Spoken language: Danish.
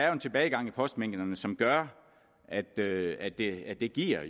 er en tilbagegang i postmængderne som gør at det at det jo giver